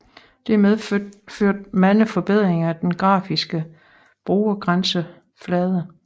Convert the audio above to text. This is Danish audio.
Dette medførte mange forbedringer af den grafiske brugergrænseflade